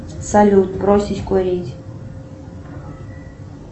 салют бросить курить